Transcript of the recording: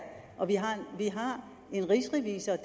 vi har en rigsrevisor